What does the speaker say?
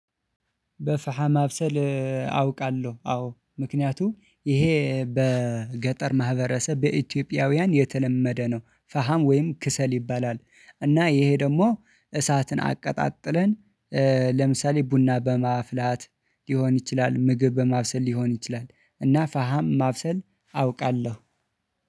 በፈሃ ማብሰል አውቃለሁ። አዎ ምክንያቱም ይሄ በገጠር ማህበረሰብ በኢትዮጵያውያን የተለመደ ነው። ፈሃም ወይም ክሰል ይባላል። እና ይሄ ደግሞ እሳትን አቀጣጥለን ለምሳሌ ቡና በማፍላት ሊሆን ይችላል። ምግብ በማብሰል ሊሆን ይችላል። እና ፈሃም ማብሰል አውቃለሁ።